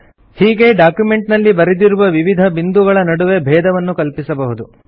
ಹೀಗೆ ಡಾಕ್ಯುಮೆಂಟ್ ನಲ್ಲಿ ಬರೆದಿರುವ ವಿವಿಧ ಬಿಂದುಗಳ ನಡುವೆ ಭೇದವನ್ನು ಕಲ್ಪಿಸಬಹುದು